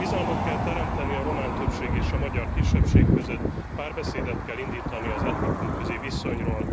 Bizalmat kell teremteni a román többség és a magyar kisebbség között, párbeszédet kell indítani az etnikumközi viszonyról.